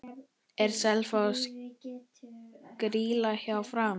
Er Selfoss grýla hjá Fram?